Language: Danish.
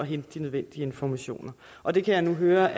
de nødvendige informationer og det kan jeg nu høre